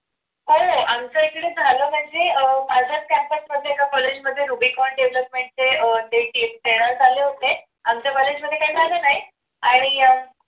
हो. आमच्याकडे झालं म्हणजे अह माझंच campus मधल्या एका college मध्ये rubicon skill development चे seminar झाले होते आमच्या college मध्ये काही झाले नाही आणि अह